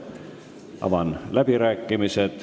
Avan läbirääkimised.